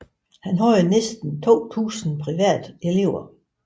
Han havde næsten 2000 private elever